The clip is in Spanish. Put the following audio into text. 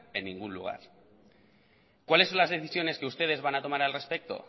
en ningún lugar cuáles son las decisiones que ustedes van a tomar al respecto